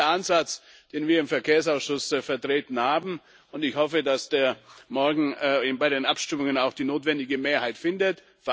Das ist der Ansatz, den wir im Verkehrsausschuss vertreten haben, und ich hoffe, dass er morgen bei den Abstimmungen auch die notwendige Mehrheit findet.